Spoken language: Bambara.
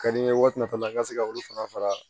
Ka di n ye waati min na n ka se ka olu fana fara